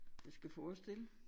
Det skal forestille